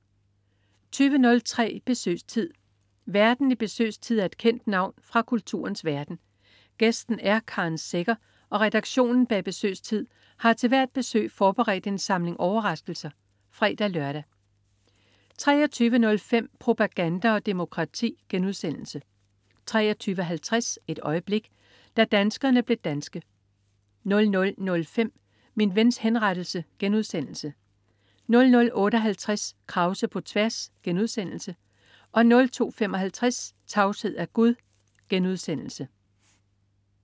20.03 Besøgstid. Værten i Besøgstid er et kendt navn fra kulturens verden, gæsten er Karen Secher og redaktionen bag Besøgstid har til hvert besøg forberedt en samling overraskelser (fre-lør) 23.05 Propaganda og Demokrati* 23.50 Et øjeblik. Da danskerne blev danske 00.05 Min Vens Henrettelse* 00.58 Krause på tværs* 02.55 Tavshed er gud*